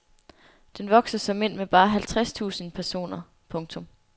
Den vokser såmænd med bare halvtreds tusind personer. punktum